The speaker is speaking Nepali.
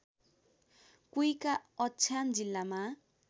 कुइका अछाम जिल्लामा